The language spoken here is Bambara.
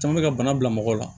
Caman bɛ ka bana bila mɔgɔ la